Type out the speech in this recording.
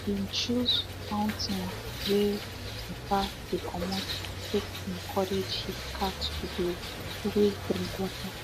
he been choose fountain wey watter dey comot to take encourage he cat to dey always drink water